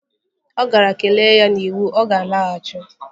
Ọ gara kelee ya n'iwu, ọ ga-alaghachi